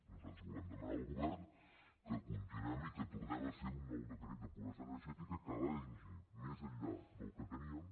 nosaltres volem demanar al govern que continuem i que tornem a fer un nou decret de pobresa energètica que vagi més enllà del que teníem